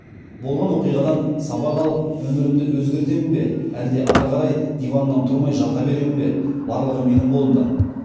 болған оқиғадан сабақ алып өмірімді өзгертемін бе әлде ары қарай диваннан тұрмай жата беремін бе барлығы менің қолымда